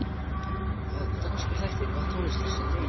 Það eru danskir þættir Hvaða tónlist hlustar þú á?